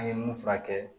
An ye mun furakɛ